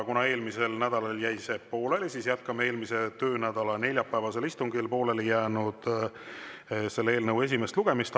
Kuna eelmisel nädalal jäi see pooleli, jätkame selle eelnõu eelmise nädala neljapäevasel istungil pooleli jäänud esimest lugemist.